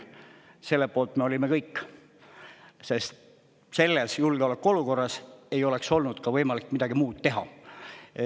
Selle poolt me olime kõik, sest selles julgeolekuolukorras ei oleks olnud ka võimalik midagi muud teha.